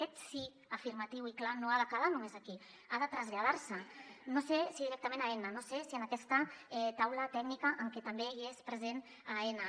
aquest sí afirma·tiu i clar no ha de quedar només aquí ha de traslladar·se no sé si directament a aena no sé si en aquesta taula tècnica en què també hi és present aena